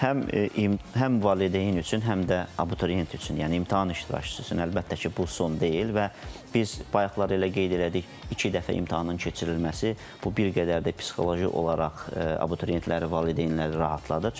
Həm imtahan, həm valideyn üçün, həm də abituriyent üçün, yəni imtahan iştirakçısı üçün əlbəttə ki, bu son deyil və biz bayaqlar elə qeyd elədik, iki dəfə imtahanın keçirilməsi bu bir qədər də psixoloji olaraq abituriyentləri, valideynləri rahatladı.